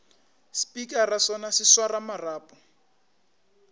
spikara sona se swara marapo